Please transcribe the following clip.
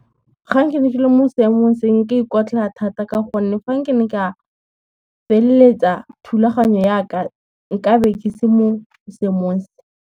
Gang ke ne ke le mo seemong se nka ikotlhaya thata ka gonne, gang ke ne ka feleletsa thulaganyo ya ka, nka be ke se mo seemong se.